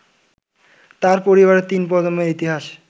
তাঁর পরিবারের তিন প্রজন্মের ইতিহাস